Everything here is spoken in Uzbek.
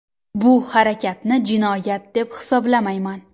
Bu harakatni jinoyat deb hisoblamayman.